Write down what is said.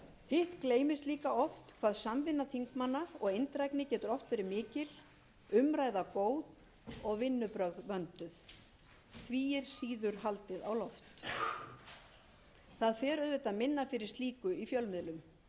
hitt gleymist líka oft hvað samvinna þingmanna og eindrægni getur verið mikil umræða góð og vinnubrögð vönduð því er síður haldið á loft það fer auðvitað minna fyrir slíku í fjölmiðlum ég leyfi mér að fullyrða að almennt séu starfshættir nefnda þingsins góðir þótt auðvitað megi enn